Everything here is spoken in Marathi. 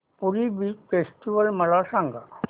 पुरी बीच फेस्टिवल मला सांग